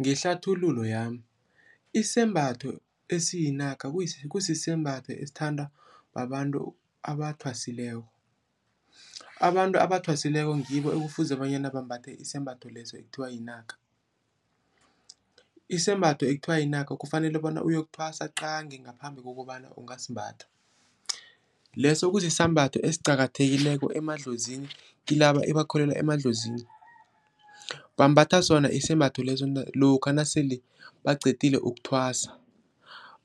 Ngehlathululo yami, isembatho esiyika kusisembatho esithandwa babantu abathwasileko. Abantu abathwasileko ngibo ekufuze bonyana bambathe isembatho leso ekuthiwa yinaka. Isembatho ekuthiwa yinaka kufanele bona uyokuthwasa qangi ngaphambi kokobana ungasimbatha. Leso kusisambatho esiqakathekileko emadlozini, kilaba ebakholelwa emadlozini. Bambatha sona isembatho leso lokha nasele baqedile ukuthwasa,